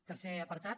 tercer apartat